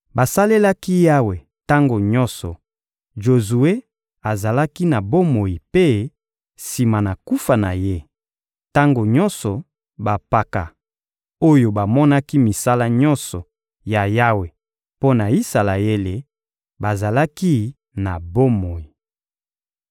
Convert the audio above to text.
Basalelaki Yawe tango nyonso Jozue azalaki na bomoi mpe, sima na kufa na ye, tango nyonso bampaka, oyo bamonaki misala nyonso ya Yawe mpo na Isalaele, bazalaki na bomoi.